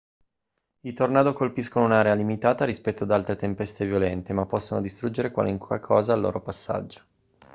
i tornado colpiscono un'area limitata rispetto ad altre tempeste violente ma possono distruggere qualunque cosa al loro passaggio